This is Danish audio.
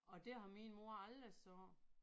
Og det har min mor aldrig sagt